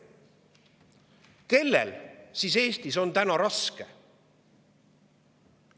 Kellel siis Eestis on täna raske?